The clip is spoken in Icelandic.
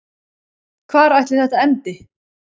Hvar ætli þetta endi?